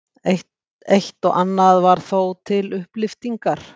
Eitt og annað var þó til upplyftingar.